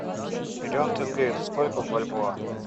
миллион тенге это сколько в бальбоа